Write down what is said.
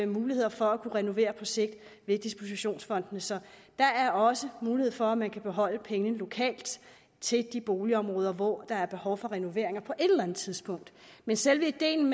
muligheder for at kunne renovere på sigt via dispositionsfondene så der er også mulighed for at man kan beholde pengene lokalt til de boligområder hvor der er behov for renoveringer på et eller andet tidspunkt men selve ideen